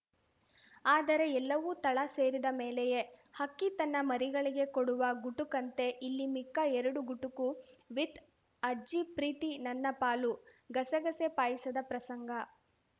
ಆದರೆ ಎಲ್ಲವೂ ತಳ ಸೇರಿದ ಮೇಲೆಯೇ ಹಕ್ಕಿ ತನ್ನ ಮರಿಗಳಿಗೆ ಕೊಡುವ ಗುಟುಕಂತೆ ಇಲ್ಲಿ ಮಿಕ್ಕ ಎರಡು ಗುಟುಕು ವಿಥ್‌ ಅಜ್ಜಿ ಪ್ರೀತಿ ನನ್ನ ಪಾಲು ಗಸಗಸೆ ಪಾಯಸದ ಪ್ರಸಂಗ